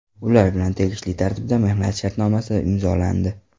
Ular bilan tegishli tartibda mehnat shartnomasi imzolandi.